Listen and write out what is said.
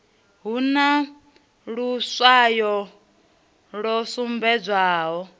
hu na luswayo lu sumbedzaho